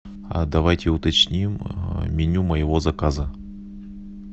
а давайте уточним меню моего заказа